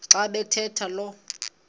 xa bathetha lo